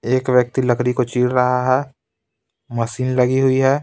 एक व्यक्ति लकड़ी को चीड़ रहा है मशीन लगी हुई है.